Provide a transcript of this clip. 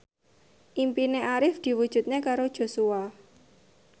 impine Arif diwujudke karo Joshua